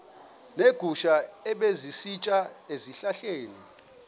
neegusha ebezisitya ezihlahleni